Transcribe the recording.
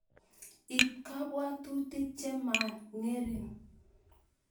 Ib kabwabutik che man ngering